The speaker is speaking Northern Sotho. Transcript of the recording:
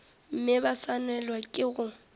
mme ba swanelwa ke go